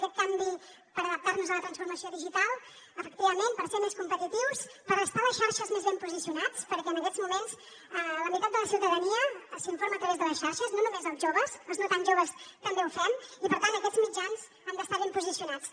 aquest canvi per adaptar nos a la transformació digital efectivament per ser més competitius per estar a les xarxes més ben posicionats perquè en aquests moments la meitat de la ciutadania s’informa a través de les xarxes no només els joves els no tan joves també ho fem i per tant aquests mitjans han d’estar ben posicionats